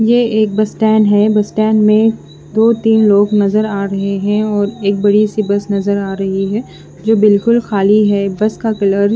ये एक बसटेन है में दो तिन लोग नज़र आ रहे है और एक बड़ी सी बस नज़र आ रही है जो बिलकुल खाली है बस का कलर --